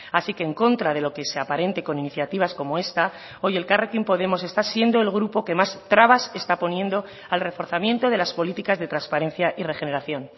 así que en contra de lo que se aparente con iniciativas como esta hoy elkarrekin podemos está siendo el grupo que más trabas está poniendo al reforzamiento de las políticas de transparencia y regeneración